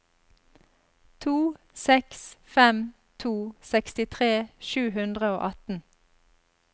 to seks fem to sekstitre sju hundre og atten